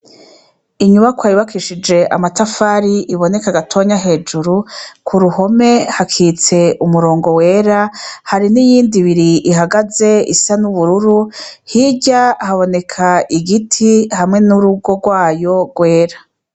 Inyubakwa yubakishije amatafari, iboneka gatonya hejuru ,k'uruhome hakitse umurongo wera, hari n'iyindi ibiri ihagaze isa n'ubururu, hirya haboneka igiti hamwe n'urugo rwayo wera.